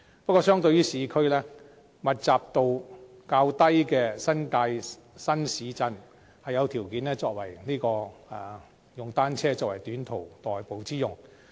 不過，相對於市區，密度較低的新界新市鎮則有條件利用單車作為短途代步之用。